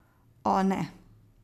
O, ne.